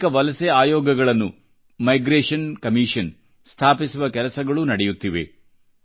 ಅನೇಕ ವಲಸೆ ಆಯೋಗಗಳನ್ನು ಮೈಗ್ರೇಷನ್ ಕಮಿಷನ್ ಸ್ಥಾಪಿಸುವ ಮಾತುಕತೆಗಳೂ ನಡೆಯುತ್ತಿವೆ